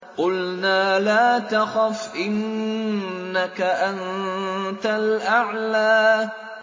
قُلْنَا لَا تَخَفْ إِنَّكَ أَنتَ الْأَعْلَىٰ